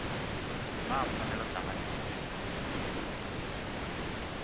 naa pfanelo dzanga ndi dzifhio